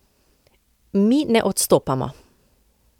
Mi ne odstopamo!